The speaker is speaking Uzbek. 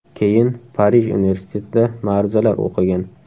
Keyin Parij universitetida ma’ruzalar o‘qigan.